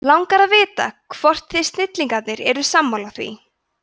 langar að vita hvort þið snillingar eru sammála því